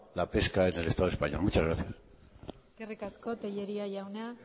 la pesca en el estado español muchas gracias eskerrik asko tellería jauna